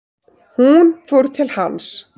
Hún fór til hans.